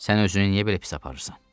Sən özünü niyə belə pis aparırsan?